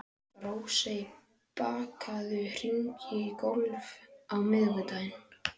Rósey, bókaðu hring í golf á miðvikudaginn.